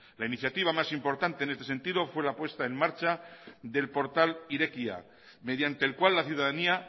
la iniciativa más importante en este sentido fue la puesta en marcha del portal irekia mediante el cual la ciudadanía